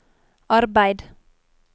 arbeid